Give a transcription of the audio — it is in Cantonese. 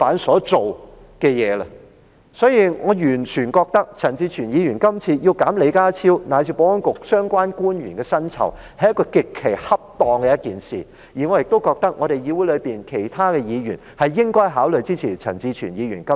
所以，我完全認為陳志全議員今次提出削減李家超及保安局相關官員的薪酬，是一件極其恰當的事情，我亦認為議會內其他委員應該考慮支持陳志全議員今次的修正案。